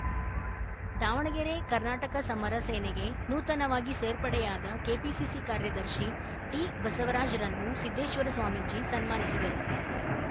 ದಾವಣಗೆರೆ ಕರ್ನಾಟಕ ಸಮರ ಸೇನೆಗೆ ನೂತನವಾಗಿ ಸೇರ್ಪಡೆಯಾದ ಕೆಪಿಸಿಸಿ ಕಾರ್ಯದರ್ಶಿ ಡಿಬಸವರಾಜರನ್ನು ಸಿದ್ದೇಶ್ವರ ಸ್ವಾಮೀಜಿ ಸನ್ಮಾನಿಸಿದರು